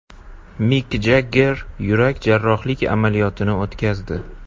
Mik Jagger yurak jarrohlik amaliyotini o‘tkazdi.